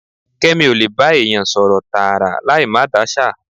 Kẹ́mi ó lè bá èèyàn sọ̀rọ̀ tààrà láì máa dáṣà.